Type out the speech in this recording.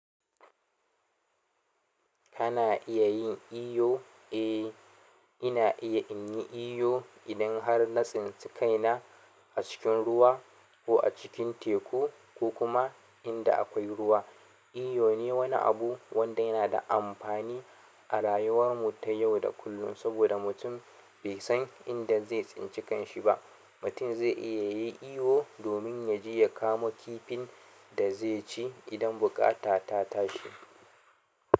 Kana iya yin iyo? Eh, ina iya inyi iyo idan har na tsince kaina a cikin ruwa ko a cikin teku ko kuma inda akwai ruwa. Iyo ne wani abu wanda yana da amfani a rayuwar mu ta yau da kullum saboda mutum bai san inda zai tsince kanshi ba. Mutum zai iya yin iyo domin yaje ya kamo kifin da zai ci idan buƙata ta tashi.